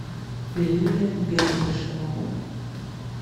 лилия бердышева